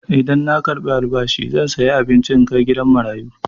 Idan na karɓi albashi zan saya abinci in kai gidan marayu.